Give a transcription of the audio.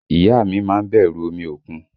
Ìyá a mi má ń bẹ̀rù omi òkun